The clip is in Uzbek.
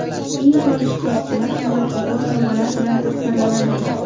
Eng faol ishtirokchilar qimmatbaho sovg‘alar bilan taqdirlanadi.